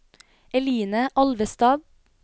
Eline Alvestad